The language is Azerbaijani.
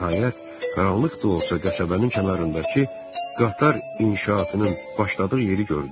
Nəhayət, qaranlıq da olsa qəsəbənin kənarındakı qatar inşaatının başladığı yeri gördü.